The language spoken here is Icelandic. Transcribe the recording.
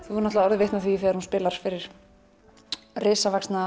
náttúrulega orðið vitni að því þegar hún spilar fyrir risavaxna